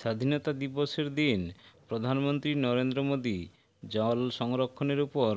স্বাধীনতা দিবসের দিন প্রধানমন্ত্রী নরেন্দ্র মোদী জল সংরক্ষণের উপর